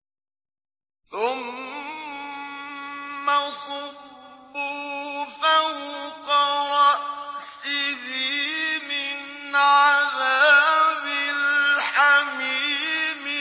ثُمَّ صُبُّوا فَوْقَ رَأْسِهِ مِنْ عَذَابِ الْحَمِيمِ